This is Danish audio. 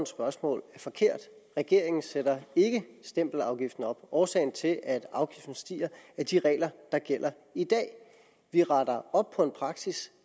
spørgsmål er forkert regeringen sætter ikke stempelafgiften op årsagen til at afgiften stiger er de regler der gælder i dag vi retter op på en praksis